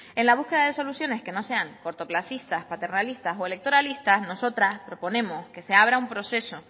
en la búsqueda de soluciones que no sean cortoplacistas paternalistas o electoralistas nosotras proponemos que se abra un proceso